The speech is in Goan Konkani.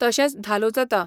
तशेंच धालो जाता.